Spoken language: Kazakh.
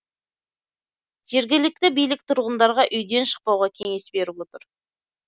жергілікті билік тұрғындарға үйден шықпауға кеңес беріп отыр